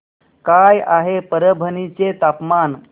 काय आहे परभणी चे तापमान